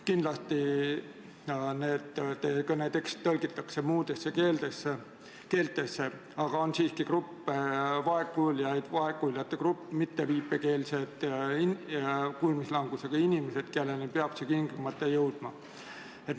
Kindlasti teie kõne tekst tõlgitakse ka muudesse keeltesse, aga meil on ka vaegkuuljate grupp, mitteviipekeelsed kuulmislangusega inimesed, kelleni peab info tingimata jõudma.